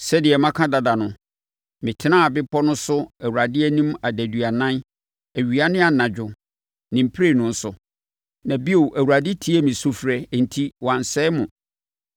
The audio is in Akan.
Sɛdeɛ maka dada no, metenaa bepɔ no so Awurade anim adaduanan awia ne anadwo ne mprenu so. Na bio, Awurade tiee me sufrɛ enti, wansɛe mo.